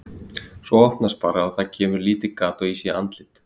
Svo opnast bara og það kemur lítið gat og ég sé andlit.